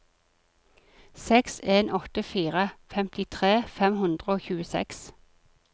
seks en åtte fire femtitre fem hundre og tjueseks